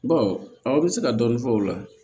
aw bɛ se ka dɔɔni fɔ o la